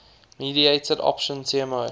mediated option tmo